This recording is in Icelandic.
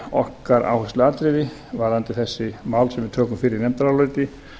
okkar áhersluatriði varðandi þessi mál sem við tökum fyrir í nefndaráliti